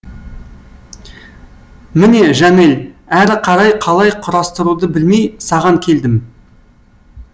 міне жанель әрі қарай қалай құрастыруды білмей саған келдім